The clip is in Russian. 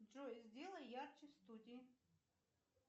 джой сделай ярче в студии